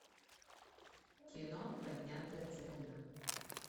кино поднятая целина